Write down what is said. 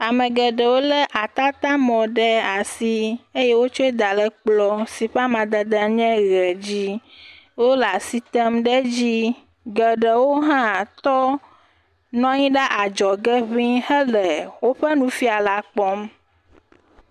Ame geɖewo lé atatamɔ ɖe asi eye wotsɔe da ɖe kplɔ si amadede nye ʋe la dzi wole asi tem ɖe edzi. Geɖewohã tɔ nɔ anyi ɖe adzɔge hele woƒe nufiala la kpɔm.